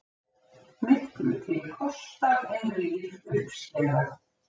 Miklu til kostað en rýr uppskera.